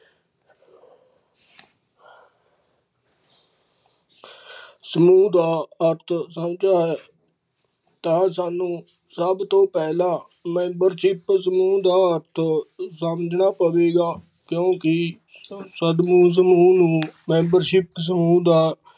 ਸਮੂਹ ਦਾ ਅਰਥ ਸਮਝਿਆ ਹੈ ਤਾਂ ਸਾਨੂੰ ਸਭ ਤੋਂ ਪਹਿਲਾਂ membership ਸਮੂਹ ਦਾ ਅਰਥ ਸਮਝਣਾ ਪਵੇਗਾ ਕਿਉਂਕਿ।